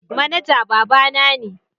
Manaja babana ne.